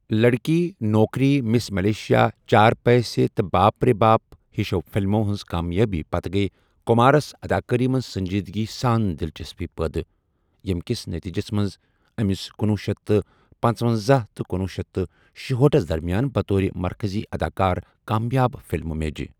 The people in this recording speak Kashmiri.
لڑکی، نوکری، مِس مَلیشِیا، چار پیسے تہٕ باپ رے باپ ہِشو فِلمو ہِنٛزِ کامیٲبی پَتَے گٔیہِ کُمارس اَداکٲری منٛز سٔنٛجیٖدگی سان دِلچسپی پٲدٕ، ییٚمہِ کِس نٔتیٖجس منٛز أمِس کنۄہ شیتھ تہٕ پنژونزاہ تہٕ کنۄہ شیتھ تہٕ شُہأٹھ ہس درمِیان بطورِ مركزی اَداکار کامیاب فِلمہِ میجہِ ۔